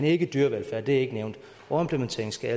ikke dyrevelfærd det er ikke nævnt overimplementering skal